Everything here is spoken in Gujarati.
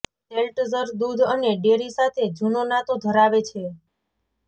સેલ્ટઝર દૂધ અને ડેરી સાથે જૂનો નાતો ધરાવે છે